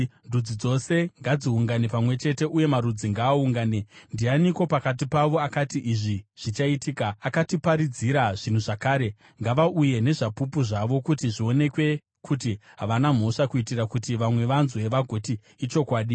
Ndudzi dzose ngadziungane pamwe chete, uye marudzi ngaaungane. Ndianiko pakati pavo akati izvi zvichaitika, akatiparidzira zvinhu zvakare? Ngavauye nezvapupu zvavo kuti zvionekwe kuti havana mhosva, kuitira kuti vamwe vanzwe vagoti, “Ichokwadi.”